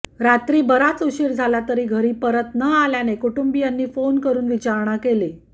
रात्री बराच उशीर झाला तरी घरी परत न आल्याने कुटुंबियांनी फोन करून विचारणा केली